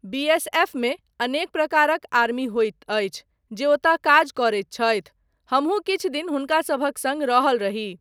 बीएसएफमे अनेक प्रकारक आर्मी होइत अछि जे ओतय काज करैत छथि, हमहुँ किछु दिन हुनका सभक सङ्ग रहल रही।